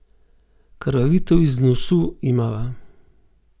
Krvavitev iz nosu imava.